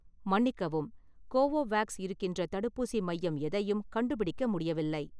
மன்னிக்கவும், கோவோவேக்ஸ் இருக்கின்ற தடுப்பூசி மையம் எதையும் கண்டுபிடிக்க முடியவில்லை